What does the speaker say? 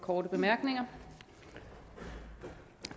og give